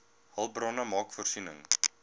hulpbronne maak voorsiening